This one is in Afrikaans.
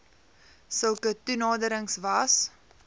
sulke toenaderings was